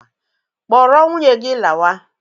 Kpọrọ nwunye gị lawa!